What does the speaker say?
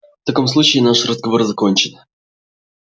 в таком случае наш разговор закончен